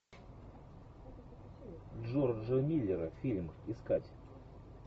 джорджа миллера фильм искать